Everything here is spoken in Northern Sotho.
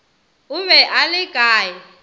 o be a le kae